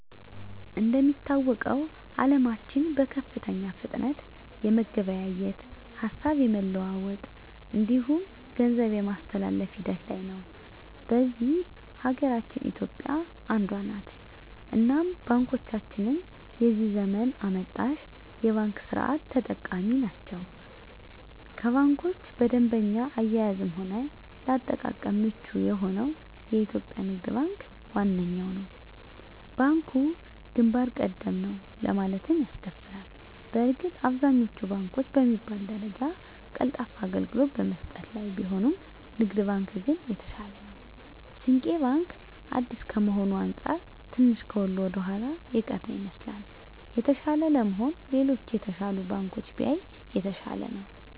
እንደሚታወቀዉ አለማችን በከፍተኛ ፍጥነት የመገበያየት፣ ሀሳብ የመለዋወጥ እንዲሁም ገንዘብ የማስተላፍ ሂደት ላይ ነዉ። በዚህ ሀገራችን ኢትዮጵያ አንዷ ነት እናም ባንኮቻችንም የዚህ ዘመን አመጣሽ የባንክ ስርት ተጠቃሚ ናት ከባንኮች በደንበኛ አያያዝም ሆነ ለአጠቃቀም ምቹ የሆነዉ የኢትዮጵያ ንግድ ባንክ ዋነኛዉ ነዉ። ባንኩ ግንባር ቀደም ነዉ ለማለትም ያስደፍራል በእርግጥ አብዛኛወቹ ባንኮች በሚባል ደረጃ ቀልጣፋ አገልግሎት በመስጠት ላይ ቢሆኑም ንግድ ባንክ ግን የተሻለ ነዉ። ስንቄ ባንክ አዲስ ከመሆኑ አንፃር ትንሽ ከሁሉ ወደኋላ የቀረ ይመስላል። የተሻለ ለመሆን ሌሎች የተሻሉ ባንኮችን ቢያይ የተሻለ ነዉ።